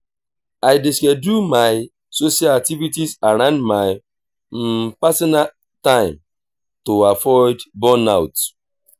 i dey schedule my social activities around my personal time to avoid burnout.